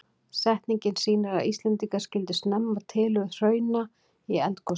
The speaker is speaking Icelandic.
Setningin sýnir að Íslendingar skildu snemma tilurð hrauna í eldgosum.